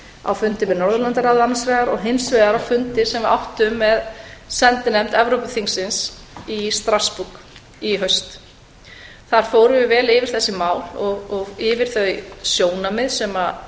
á fundi með norðurlandaráði annars vegar og hins vegar á fundi sem við áttum með sendinefnd evrópuþingsins í strassborg í haust þar fórum við vel yfir þessi mál og yfir þau sjónarmið sem